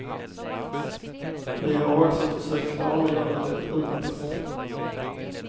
Vi har också försökt klargöra det utåt.